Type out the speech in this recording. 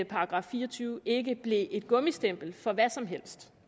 § fire og tyve ikke blev et gummistempel for hvad som helst